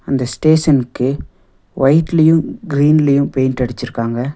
அந்த ஸ்டேசன்க்கு வைட்லியும் க்ரீன்லியும் பெய்ண்ட் அடிச்சிருக்காங்க.